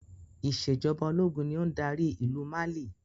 Ìsèjọba ológun ni ó ń dárí ìlú Mali